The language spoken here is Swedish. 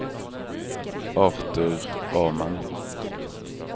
Artur Åman